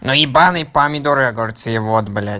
но ебанный помидоры огурцы вот блять